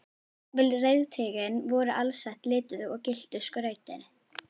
Jafnvel reiðtygin voru alsett lituðu og gylltu skrauti.